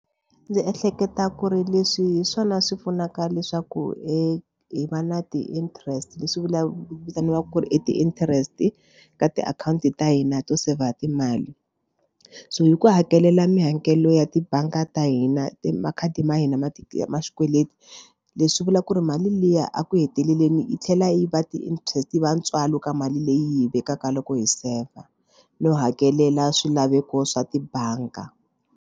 Ndzi ehleketa ku ri leswi hi swona swi pfunaka leswaku hi hi va na ti-interest leswi vulaku vitaniwaka ku i ti-interest ka tiakhawunti ta hina to seyivha timali so hi ku hakelela mihakelo ya tibangi ta hina i makhadi ma hina ma ti ma swikweleti leswi vula ku ri mali liya a ku heteleleni yi tlhela yi va ti-interest va ntswalo ka mali leyi vekaka loko hi saver no hakelela swilaveko swa tibanga.